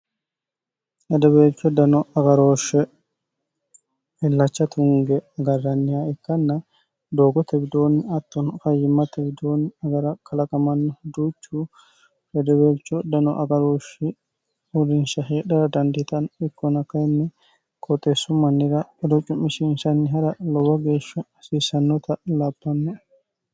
hedebeelcho dano agarooshshe illacha tunge garranniha ikkanna doogo tewidoonni atton kayyimma tewidoonni agara kalaqamanni huduuchu redebeelcho dano agarooshshe hurinsha heedhara dandiitani ikkona kayinni kooxeessu mannira ido cu'mishiinsanni ha'ra lobo geeshsha hasiisannota lapanne